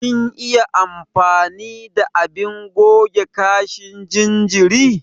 Kin iya amfani da abin goge kashin jinjiri?